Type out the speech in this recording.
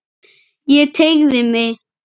Ég teygði mig.